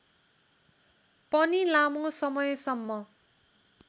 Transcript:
पनि लामो समयसम्म